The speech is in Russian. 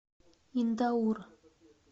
индаур